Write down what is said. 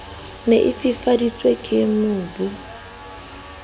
ne e fifaditswe ke mobu